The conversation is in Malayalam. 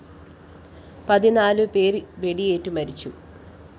പതിനാലു പേര്‍ വെടിയേറ്റു മരിച്ചു